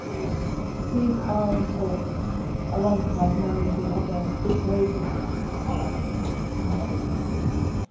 60 These are important, alongside many of the other ways in which we can try and support this country into the future.